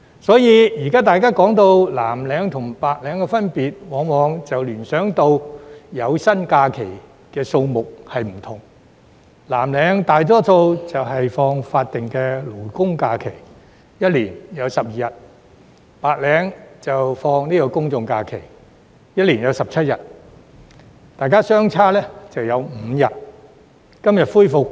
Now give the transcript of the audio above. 因此，現時大家談到藍領和白領的分別，往往聯想到有薪假期的日數不同：藍領大多數放取法定假日，每年有12日；白領放取公眾假期，每年有17日，兩者相差5日。